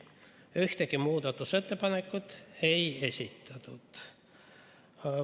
Ühtegi muudatusettepanekut ei esitatud.